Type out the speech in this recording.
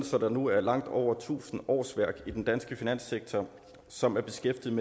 der nu er langt over tusind årsværk i den danske finanssektor som er beskæftiget